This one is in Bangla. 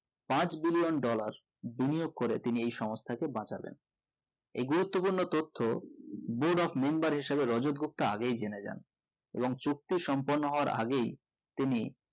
পাঁচ billionaire dollar বিনিয়োগ করে তিনি এই সংস্তাকে বাঁচালেন এই গুরুত্ব পূর্ণ তথ্য be dock member হিসাবে রাজাত গুপ্তা আগেই জেনে যান এবং চুক্তি সম্পূর্ণ হবার আগেই তিনি